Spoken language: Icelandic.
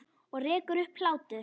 Og rekur upp hlátur.